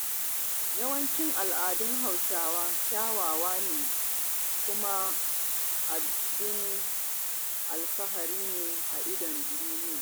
Yawancin al'adun Hausawa kyawawa ne, kuma ababen alfahari a idon duniya.